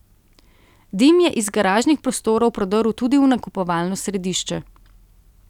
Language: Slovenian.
Dim je iz garažnih prostorov prodrl tudi v nakupovalno središče.